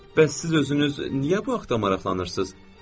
Bəs siz özünüz niyə bu haqda maraqlanırsız?